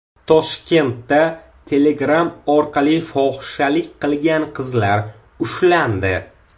Toshkentda Telegram orqali fohishalik qilgan qizlar ushlandi.